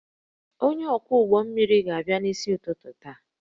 Onye ọkwọ ụgbọ mmiri ga-abịa n'isi ụtụtụ taa